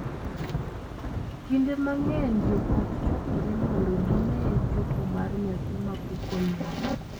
Kinde mang’eny joot chokore mondo gine chopo mar nyathi ma pok onyuol,